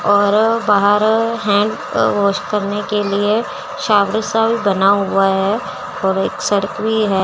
और बाहर hand uh wash करने के लिए शॉवर सा भी बना हुआ है और एक सड़क भी है।